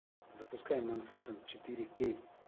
запускай манхэттен четыре к